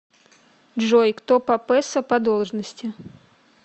джой кто папесса по должности